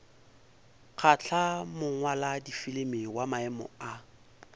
kgahla mongwaladifilimi wa maemo a